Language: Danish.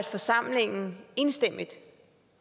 forsamlingen enstemmigt